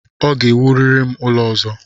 Ọ ga-ewurịrị m ụlọ ọzọ!